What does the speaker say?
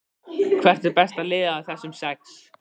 Hvert er besta liðið af þessum sex?